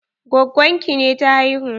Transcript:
Gwaggon ki ne ta haihu?